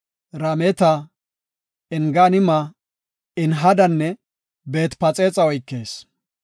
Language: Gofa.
Rameta, Enganima, Enhadanne Beet-Phaxexa oykees.